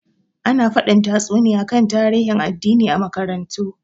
Ana fadin tatsuniya kan tarihin addini a makarantu.